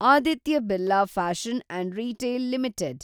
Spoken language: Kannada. Aditya Birla fashion and retail limited